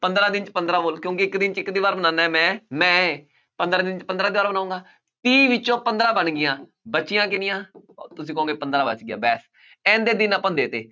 ਪੰਦਰਾਂ ਦਿਨ 'ਚ ਪੰਦਰਾਂ wall ਕਿਉਂਕਿ ਇੱਕ ਦਿਨ 'ਚ ਇੱਕ ਦੀਵਾਰ ਬਣਾਉਂਦਾ ਹੈ ਮੈਂ, ਮੈਂ ਪੰਦਰਾਂ ਦਿਨ 'ਚ ਪੰਦਰਾਂ ਦੀਵਾਰ ਬਣਾਊਂਗਾ, ਤੀਹ ਵਿੱਚੋਂ ਪੰਦਰਾਂ ਬਣ ਗਈਆਂ ਬਚੀਆਂ ਕਿੰਨੀਆਂ ਤੁਸੀਂ ਕਹੋਗੇ ਪੰਦਰਾਂ ਬਚ ਗਈਆਂ ਦਿਨ ਆਪਾਂ ਨੂੰ ਦੇ ਦਿੱਤੇ